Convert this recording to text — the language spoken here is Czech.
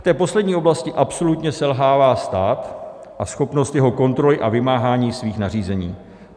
V té poslední oblasti absolutně selhává stát a schopnost jeho kontroly a vymáhání svých nařízení.